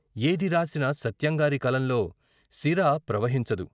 ఏది రాసినా సత్యంగారి కలంలో సిరా ప్రవ హించదు.